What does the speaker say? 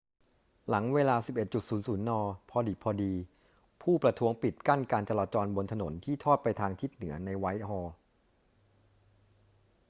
หลังเวลา 11.00 น พอดิบพอดี ผู้ประท้วงปิดกั้นการจราจรบนถนนที่ทอดไปทางทิศเหนือในไวท์ฮอลล์